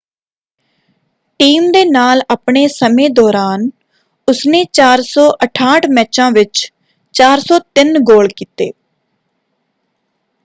Team ਦੇ ਨਾਲ ਆਪਣੇ ਸਮੇਂ ਦੌਰਾਨ ਉਸਨੇ 468 ਮੈਚਾਂ ਵਿੱਚ 403 ਗੋਲ ਕੀਤੇ।